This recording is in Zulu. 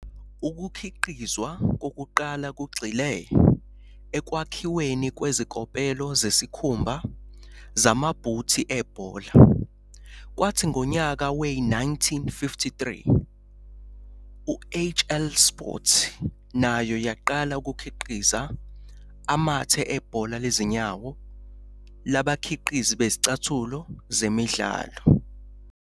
Ukukhiqizwa kokuqala kugxile ekwakhiweni kwezikopelo zesikhumba zamabhuthi ebhola, kwathi ngonyaka we-1953 uhlsport nayo yaqala ukukhiqiza amathe ebhola lezinyawo labakhiqizi bezicathulo zemidlalo.